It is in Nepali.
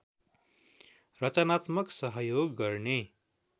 रचनात्मक सहयोग गर्ने